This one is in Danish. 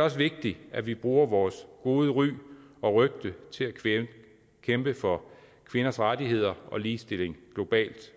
også vigtigt at vi bruger vores gode ry og rygte til at kæmpe for kvinders rettigheder og ligestilling globalt